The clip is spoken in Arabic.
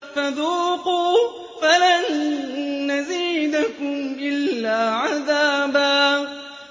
فَذُوقُوا فَلَن نَّزِيدَكُمْ إِلَّا عَذَابًا